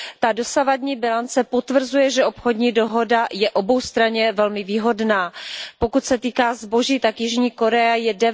Ta dosavadní bilance potvrzuje, že obchodní dohoda je oboustranně velmi výhodná. Pokud se týká zboží, tak Jižní Korea je